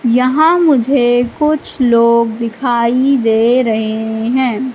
यहां मुझे कुछ लोग दिखाई दे रहे हैं।